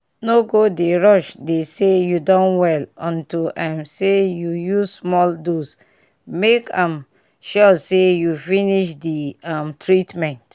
no go dey rush dey say you don well unto um say you use small dose make um sure say you finish di um treatment.